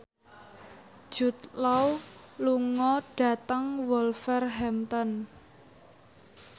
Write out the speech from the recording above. Jude Law lunga dhateng Wolverhampton